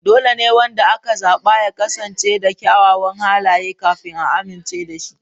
Dole ne wanda aka zaba ya kasance da kyawawan halaye kafin a amincewa da shi.